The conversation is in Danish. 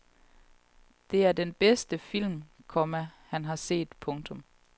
Det er den bedste film, komma han har set. punktum